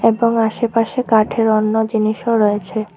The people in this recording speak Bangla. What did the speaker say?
এবং আশেপাশে কাঠের অন্য জিনিসও রয়েছে।